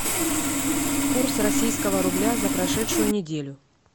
курс российского рубля за прошедшую неделю